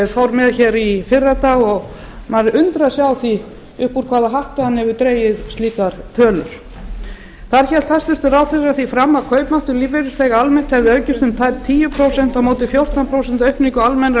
fór með í fyrradag maður undrar sig á upp úr hvaða hatti hann hefur dregið slíkar tölur þar hélt hæstvirtur ráðherra því fram að kaupmáttur lífeyrisþega almennt hefði aukist um tæp tíu prósent á móti fjórtán prósent aukningu almennrar launavísitölu